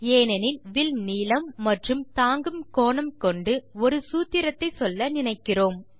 ஏனெனில் வில் நீளம் மற்றும் தாங்கும் கோணம் கொண்டு ஒரு சூத்திரத்தை சொல்ல நினைக்கிறோம்